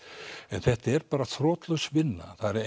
en þetta er bara þrotlaus vinna það eru